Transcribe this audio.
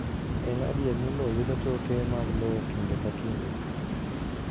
En adier ni lowo yudo choke mag lowo kinde ka kinde